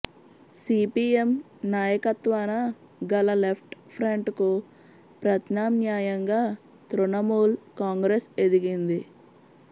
CPM నాయకత్వాన గల left ఫ్రంట్కు ప్రత్యామ్నాయంగా తృణమూల్ కాంగ్రెస్ ఎదిగింది